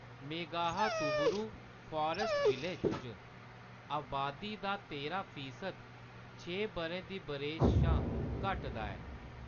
Meghahatuburu forest village च, अबादी दा तेरां फीसद छे बʼरें दी बरेस शा घट्ट दा ऐ।